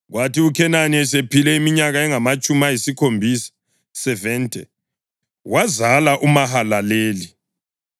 Kwathi uKhenani esephile iminyaka engamatshumi ayisikhombisa (70) wazala uMahalaleli.